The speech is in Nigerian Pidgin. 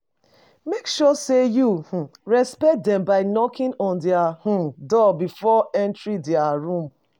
Make sure sey you um respect them by knocking on their um door before entering their room